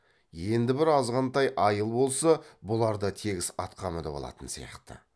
енді бір азғантай айыл болса бұлар да тегіс атқа мініп алатын сияқты